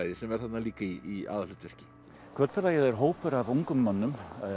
sem er þarna líka í aðalhlutverki er hópur af ungum mönnum